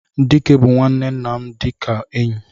Dike bu nwanne nna dika enyi.